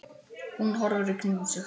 Hún horfir í kringum sig.